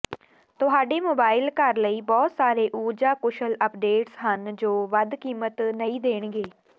ਤੁਹਾਡੇ ਮੋਬਾਈਲ ਘਰ ਲਈ ਬਹੁਤ ਸਾਰੇ ਊਰਜਾ ਕੁਸ਼ਲ ਅਪਡੇਟਸ ਹਨ ਜੋ ਵੱਧ ਕੀਮਤ ਨਹੀਂ ਦੇਣਗੇ